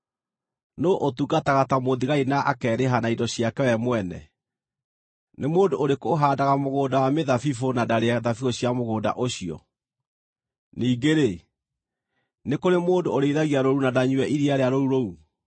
Nũũ ũtungataga ta mũthigari na akeerĩha na indo ciake we mwene? Nĩ mũndũ ũrĩkũ ũhaandaga mũgũnda wa mĩthabibũ na ndarĩe thabibũ cia mũgũnda ũcio? Ningĩ-rĩ, nĩ kũrĩ mũndũ ũrĩithagia rũũru na ndanyue iria rĩa rũũru rũu?